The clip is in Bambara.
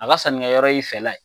A ga sannikɛyɔrɔ y'i fɛla ye